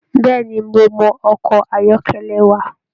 Bẹẹni, mo mọ ọkọ ayọkẹlẹ wà.